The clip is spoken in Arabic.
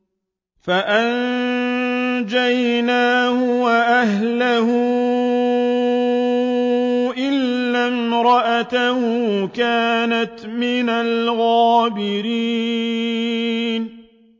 فَأَنجَيْنَاهُ وَأَهْلَهُ إِلَّا امْرَأَتَهُ كَانَتْ مِنَ الْغَابِرِينَ